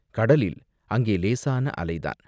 கடலில் அங்கே இலேசான அலைதான்.